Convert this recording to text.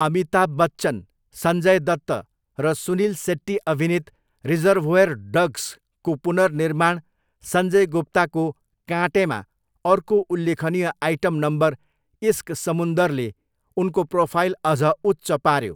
अमिताभ बच्चन, सञ्जय दत्त, र सुनील सेट्टी अभिनीत 'रिजर्भोयर डग्स'को पुनर्निर्माण सञ्जय गुप्ताको 'काँटे'मा अर्को उल्लेखनीय आइटम नम्बर 'इस्क समुन्दर'ले उनको प्रोफाइल अझ उच्च पाऱ्यो।